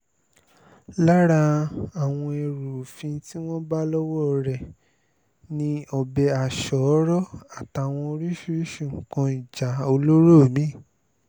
lára àwọn ẹrù òfin tí wọ́n bá lọ́wọ́ rẹ̀ ni ọbẹ̀ aṣọ́ọ́rọ́ àtàwọn oríṣiríṣii nǹkan ìjà olóró mí-ín